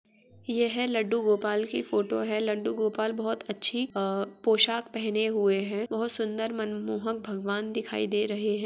ये है लड्डू गोपाल की फोटो है। लड्डू गोपाल बोहत अच्छी अ पोशाक पहने हुए हैं। बोहत सुन्दर मन मोहक भगवान दिखाई दे रहे हैं।